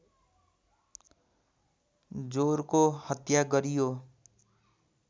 जोरको हत्या गरियो